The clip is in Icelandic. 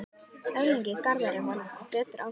Erlingi Garðari varð betur ágengt.